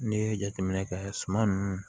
N'i ye jateminɛ kɛ suman nunnu